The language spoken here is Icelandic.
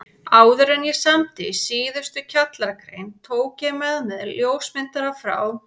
Áðuren ég samdi síðustu kjallaragrein tók ég með mér ljósmyndara frá